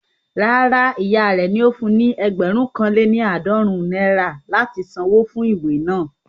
Rárá, ìyá rẹ ò ní fun ní ẹgbẹ̀rún kan lé ní àádọ́rùn-ún náírà láti san wó fún ìwé naa